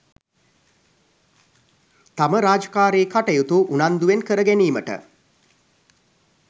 තම රාජකාරි කටයුතු උනන්දුවෙන් කර ගැනීමට